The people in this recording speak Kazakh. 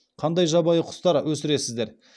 қандай жабайы құстар өсіресіздер